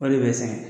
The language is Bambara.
O de bɛ sɛgɛn